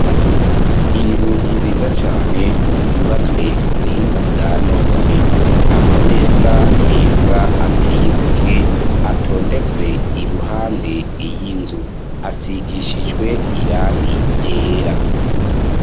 Inzu nziza cane, yubatswe ku buhinga, bwa none; amameza, meza, ateye igomwe, atondetswe iruhande y'inzu; asigishijwe irangi ryera.